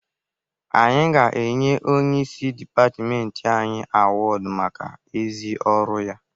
Anyị ga-enye onyeisi dịpatịmentị anyị awọdụ maka ezi ọrụ ya.